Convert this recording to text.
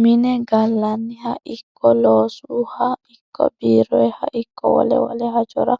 Mine gallanniha ikko loosuha ikko biiroha ikko wole wole hajora